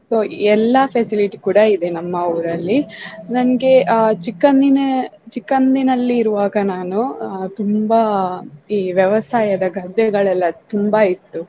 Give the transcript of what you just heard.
So ಎಲ್ಲಾ facility ಕೂಡಾ ಇದೆ ನಮ್ಮ ಊರಲ್ಲಿ ನನ್ಗೆ ಅ ಚಿಕ್ಕನೀನೇ~ ಚಿಕಂದಿನಲ್ಲಿ ಇರುವಾಗ ನಾನು ಆ ತುಂಬಾ ಈ ವ್ಯವಸಾಯದ ಗದ್ದೆಗಳೆಲ್ಲ ತುಂಬಾ ಇತ್ತು.